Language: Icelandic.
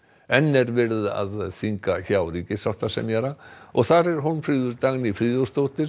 enn er verið að funda hjá ríkissáttasemjara og þar er Hólmfríður Dagný Friðjónsdóttir